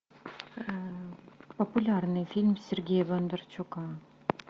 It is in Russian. популярный фильм сергея бондарчука